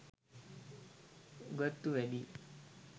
උගත්තු වැඩියි